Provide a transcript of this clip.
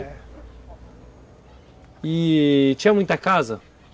É... E tinha muita casa?